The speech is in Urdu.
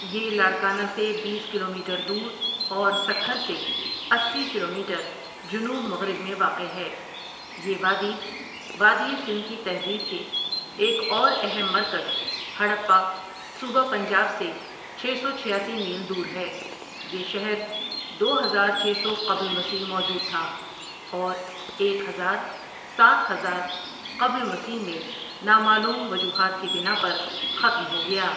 یہ لاڑکانہ سے بیس کلومیٹر دور اور سکھر سے اسی کلومیٹر جنوب مغرب میں واقع ہے یہ وادی، وادی سندھ کی تہذیب کے ایک اور اہم مرکز ہڑپہ صوبہ پنجاب سے چھ سو چھیاسی میل دور ہے یہ شہر دو ہزار چھ سو قبل مسیح موجود تھا اور ایک ہزار ساتھ ہزار قبل مسیح میں نامعلوم وجوہات کی بناء پر ختم ہو گیا ۔